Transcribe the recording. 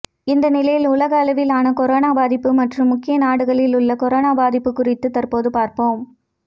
இந்த நிலையில் உலக அளவிலான கொரோனா பாதிப்பு மற்றும் முக்கிய நாடுகளில் உள்ள கொரோனா பாதிப்பு குறித்து தற்போது பார்ப்போம்